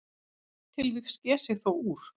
Eitt tilvik sker sig þó úr.